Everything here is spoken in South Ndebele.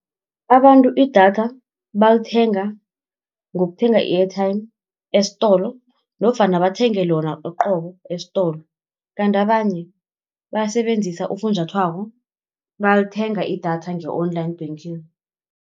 Abantu idatha balithenga ngokuthenga i-airtime esitolo, nofana bathenge lona uqobo esitolo. Kanti abanye basebenzisa ufunjathwako balithenga idatha nge-online banking.